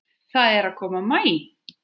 Það er að koma maí.